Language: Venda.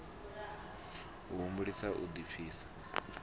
a humbulisa u ḓipfisa na